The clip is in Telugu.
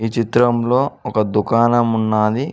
ఈ చిత్రంలో ఒక దుకాణం ఉన్నాది.